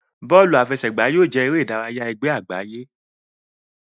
Bóòlù àfẹsẹ̀gbá yóò jẹ eré ìdárayá ègbé àgbáyé.